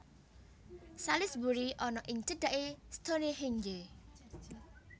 Salisbury ana ing cedhaké Stonehenge